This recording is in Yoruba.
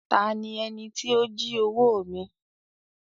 "Ta ni ẹní ti o jí owo mi?"